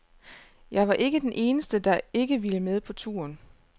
Jeg var ikke den eneste, der ikke ville med på turen.